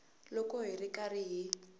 loko hi ri karhi hi